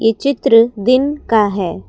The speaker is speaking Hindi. ये चित्र दिन का है।